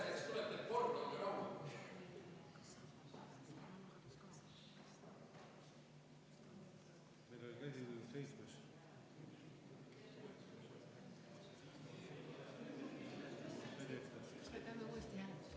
Seitsmes.